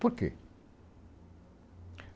Por quê?